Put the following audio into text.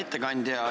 Tänan!